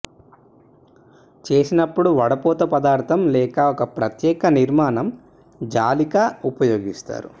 చేసినప్పుడు వడపోత పదార్థం లేదా ఒక ప్రత్యేక నిర్మాణం జాలిక ఉపయోగిస్తారు